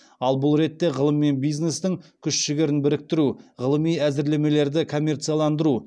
ал бұл ретте ғылым мен бизнестің күш жігерін біріктіру ғылыми әзірлемелерді коммерцияландыру